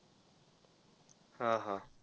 हा हा.